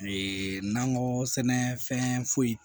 Ee nakɔ sɛnɛfɛn foyi